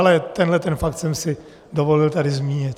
Ale tenhle ten fakt jsem si dovolil tady zmínit.